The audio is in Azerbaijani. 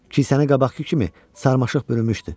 Kişəsəni qabaqkı kimi sarmaşıq bürümüşdü.